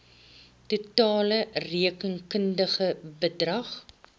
totale rekenkundige bedrag